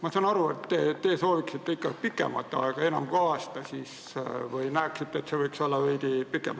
Ma saan aru, et te sooviksite ikka pikemat aega, enam kui aasta, või näeksite, et see võiks olla veidi pikem.